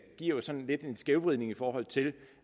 jo sådan lidt en skævvridning i forhold til